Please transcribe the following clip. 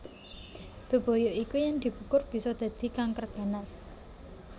Bebaya iku yen dikukur bisa dadi kanker ganas